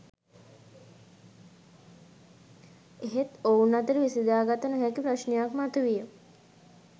එහෙත් ඔවුන් අතර විසඳාගත නොහැකි ප්‍රශ්නයක් මතු විය